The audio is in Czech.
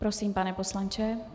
Prosím, pane poslanče.